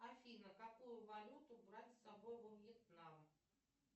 афина какую валюту брать с собой во вьетнам